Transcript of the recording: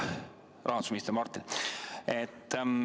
Hea rahandusminister Martin!